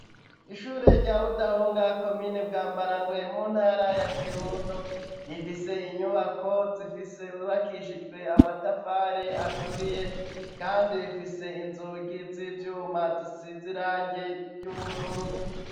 Ishuri rya budahunga komini Bwambarangwe mu ntara ya Kirundo rifise inyubako zifise zubakishijwe amatafari aturiye kandi ifise inzugi z'ivyuma zisize irange ry'ubururu.